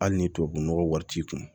Hali ni tubabunɔgɔ wari t'i kun